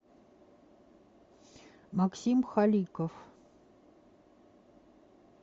максим халиков